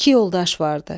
İki yoldaş vardı.